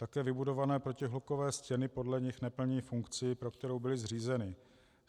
Také vybudované protihlukové stěny podle nich neplní funkci, pro kterou byly zřízeny.